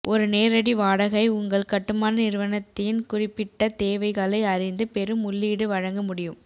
ஒரு நேரடி வாடகை உங்கள் கட்டுமான நிறுவனத்தின் குறிப்பிட்ட தேவைகளை அறிந்து பெரும் உள்ளீடு வழங்க முடியும்